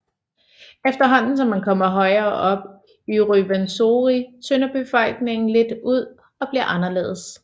Efterhånden som man kommer højere op i Ruwenzori tynder bevoksningen lidt ud og bliver anderledes